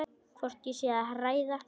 Hvort ég sé að hræða.